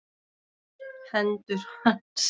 Hendur hans.